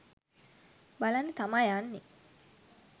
බලන්න තමා යන්නේ.